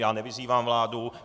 Já nevyzývám vládu.